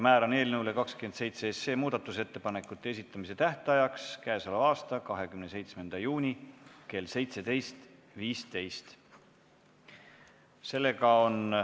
Määran muudatusettepanekute esitamise tähtajaks k.a 27. juuni kell 17.15.